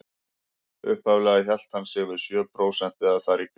Upphaflega hélt hann sig við sjö prósent eða þar í kring.